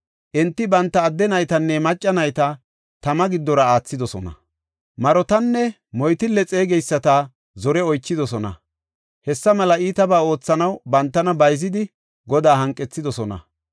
Enti banta adde naytanne macca nayta tama giddora aathidosona. Marotanne moytille xeegeyisata zore oychidosona. Hessa mela iitabaa oothanaw bantana bayzidi, Godaa hanqethidosona.